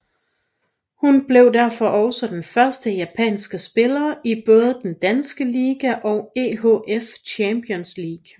Hun blev derfor også den første japanske spiller i både den danske liga og EHF Champions League